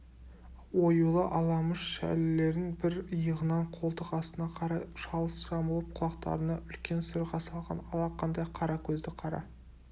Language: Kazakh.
оюлы аламыш шәлілерін бір иығынан қолтық астына қарай шалыс жамылып құлақтарына үлкен сырға салған алақандай қара көзді қара